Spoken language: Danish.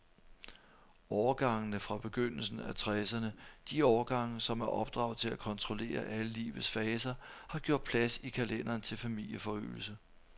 Årgangene fra begyndelsen af tresserne, de årgange, som er opdraget til at kontrollere alle livets faser, har gjort plads i kalenderen til familieforøgelse.